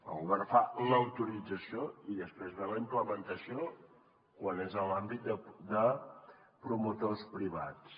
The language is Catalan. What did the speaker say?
el govern fa l’autorització i després ve la implementació quan és en l’àmbit de promotors privats